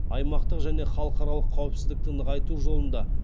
аймақтық және халықаралық қауіпсіздікті нығайту жолында